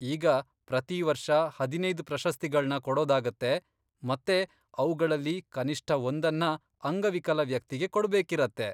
ಈಗ, ಪ್ರತೀ ವರ್ಷ ಹದಿನೈದ್ ಪ್ರಶಸ್ತಿಗಳ್ನ ಕೊಡೋದಾಗತ್ತೆ ಮತ್ತೆ ಅವ್ಗಳಲ್ಲಿ ಕನಿಷ್ಠ ಒಂದನ್ನ ಅಂಗವಿಕಲ ವ್ಯಕ್ತಿಗೆ ಕೊಡ್ಬೇಕಿರತ್ತೆ.